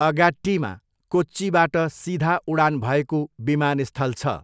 अगाट्टीमा कोच्चीबाट सिधा उडान भएको विमानस्थल छ।